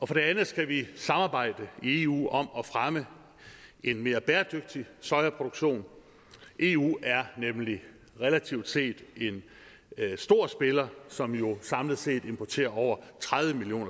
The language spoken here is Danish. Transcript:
for det andet skal vi samarbejde i eu om at fremme en mere bæredygtig sojaproduktion for eu er nemlig relativt set en stor spiller som jo samlet set importerer over tredive million